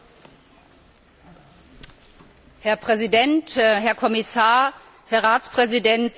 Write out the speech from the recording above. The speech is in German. Herr Präsident, Herr Kommissar, Herr Ratspräsident, sehr geehrte Kolleginnen und Kollegen!